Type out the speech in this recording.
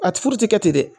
A ti furu ti kɛ ten dɛ